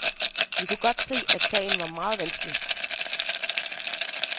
Vi kunne godt se, at sagen var meget vanskelig.